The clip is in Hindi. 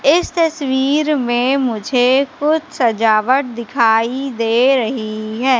इस तस्वीर में मुझे कुछ सजावट दिखाई दे रही है।